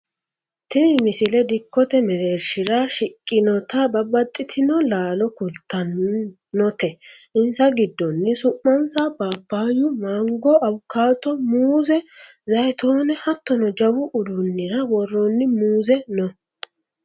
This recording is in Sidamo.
tini misile dikkote mereershira shiqqinota babbaxxxitino laalo kultannote insa giddono su'mansa paappaayyu mango awukaato muuze zayiitoone hattono jawu uduunnira worroonni muuze no